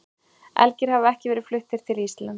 Elgir hafa ekki verið fluttir til Íslands.